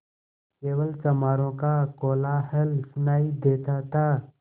केवल चमारों का कोलाहल सुनायी देता था